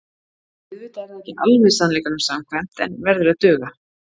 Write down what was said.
Auðvitað er það ekki alveg sannleikanum samkvæmt en verður að duga.